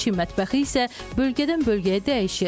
Çin mətbəxi isə bölgədən bölgəyə dəyişir.